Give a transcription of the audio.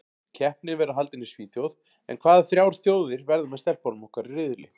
Keppnin verður haldin í Svíþjóð en hvaða þrjár þjóðir verða með stelpunum okkar í riðli?